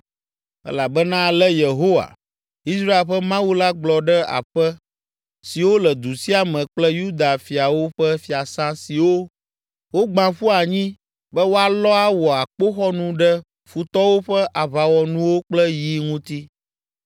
Elabena ale Yehowa, Israel ƒe Mawu la gblɔ ɖe aƒe siwo le du sia me kple Yuda fiawo ƒe fiasã siwo wogbã ƒu anyi be woalɔ awɔ akpoxɔnu ɖe futɔwo ƒe aʋawɔnuwo kple yi ŋuti,